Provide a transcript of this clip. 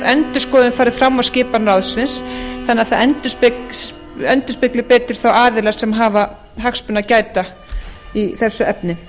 endurskoðun fari fram á skipan ráðsins þannig að það endurspegli betur þá aðila sem hafa hagsmuna að gæta í þessu efni